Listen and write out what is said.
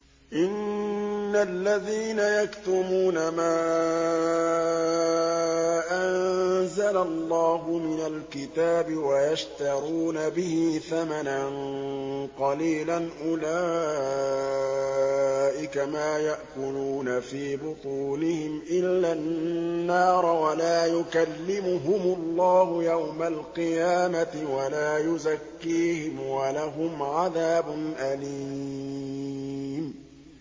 إِنَّ الَّذِينَ يَكْتُمُونَ مَا أَنزَلَ اللَّهُ مِنَ الْكِتَابِ وَيَشْتَرُونَ بِهِ ثَمَنًا قَلِيلًا ۙ أُولَٰئِكَ مَا يَأْكُلُونَ فِي بُطُونِهِمْ إِلَّا النَّارَ وَلَا يُكَلِّمُهُمُ اللَّهُ يَوْمَ الْقِيَامَةِ وَلَا يُزَكِّيهِمْ وَلَهُمْ عَذَابٌ أَلِيمٌ